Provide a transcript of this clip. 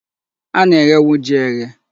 A na-eghenwu ji eghe.